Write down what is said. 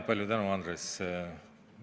Palju tänu, Andres!